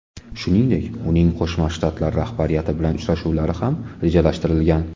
Shuningdek, uning Qo‘shma Shtatlar rahbariyati bilan uchrashuvlari ham rejalashtirilgan.